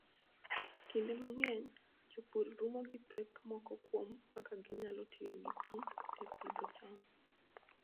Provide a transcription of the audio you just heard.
Kinde mang'eny, jopur romo gi pek moko kuom kaka ginyalo tiyo gi pi e pidho cham.